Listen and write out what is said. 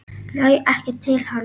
Næ ekki til hans.